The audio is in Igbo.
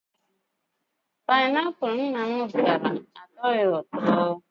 Pineapul nna m zụtara, atoghi ụtọ